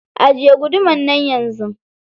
Ajiye gudumar nan yanzu.